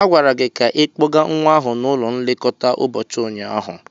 A gwara gị ka ikpọga nwa ahụ n'ụlọ nlekọta ụbọchị ụnyaahụ.